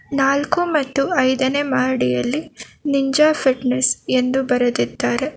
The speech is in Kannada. ನಾಲ್ಕು ಮತ್ತು ಐದನೇ ಮಹಡಿಯಲ್ಲಿ ನಿಂಜ ಫಿಟ್ನೆಸ್ ಎಂದು ಬರೆದಿದ್ದಾರೆ.